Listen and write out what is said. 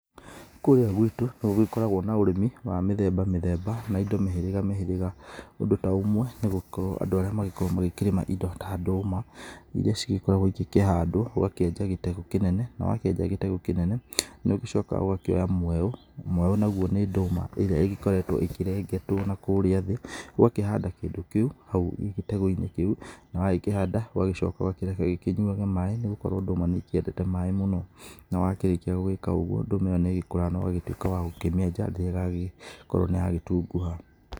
Kũrĩa gwitũ, no gũgĩkoragwo na ũrĩmi wa mĩthemba mithemba, na indo mĩhĩrĩga mĩhĩrĩga, ũndũ ta ũmwe nĩ gũkorwo andũ arĩa magĩkoragwo magĩkĩrĩma indo ta ndũũma, iria cigĩkoragwo cigĩkĩhandwo ũgakĩenja gĩtego kĩnene na wakĩenja gĩtego ĩnene, nĩũgĩcokaga ũgakĩoya mweũ, mweũ naguo ni nduũma ĩrĩa ĩgĩkoretwo ĩkĩrengetwo na kũrĩa thĩ, ũgakĩhanda kĩndũ kĩu hau gĩtego-inĩ kĩu, na wagĩkĩhanda ũgagĩcoka ũgakĩrekereria ikĩnyuage maĩĩ, nĩgũkorwo ndũũma nĩĩkĩendete maĩĩ mũno, nawakĩrĩkia gũgĩka ũguo, ndũũma ĩyo nĩĩgĩkũraga nogagĩtuĩka wa gũkĩmienja, rĩrĩa ĩgagĩkorwo nĩyagĩtunguha.